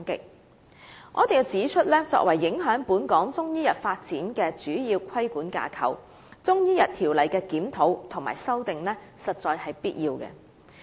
我必須指出，作為影響本港中醫藥發展的主要規管架構，《條例》的檢討和修訂實在是必要的。